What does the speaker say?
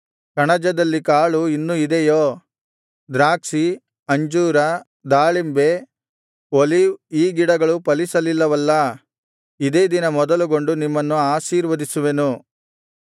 ಕಣಜದಲ್ಲಿ ಕಾಳು ಇನ್ನು ಇದೆಯೋ ದ್ರಾಕ್ಷಿ ಅಂಜೂರ ದಾಳಿಂಬೆ ಒಲೀವ್ ಈ ಗಿಡಗಳು ಫಲಿಸಲಿಲ್ಲವಲ್ಲಾ ಇದೇ ದಿನ ಮೊದಲುಗೊಂಡು ನಿಮ್ಮನ್ನು ಆಶೀರ್ವದಿಸುವೆನು